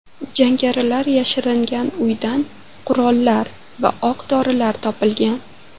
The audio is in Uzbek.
Jangarilar yashiringan uydan qurollar va o‘q-dorilar topilgan.